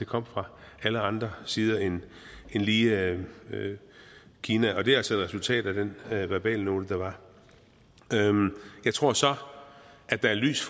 kom fra alle andre sider end lige kina og det er altså resultatet af den verbalnote der var jeg tror så at der er lys